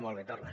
molt bé torna